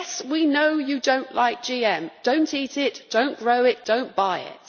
Yes, we know they do not like GM so don't eat it, don't grow it, don't buy it.